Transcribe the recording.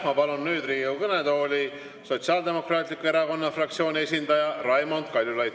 Ma palun nüüd Riigikogu kõnetooli Sotsiaaldemokraatliku Erakonna fraktsiooni esindaja Raimond Kaljulaidi!